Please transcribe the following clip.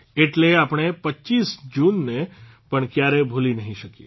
એટલે આપણે ૨૫ જૂનને પણ ક્યારેય ભૂલી નહીં શકીએ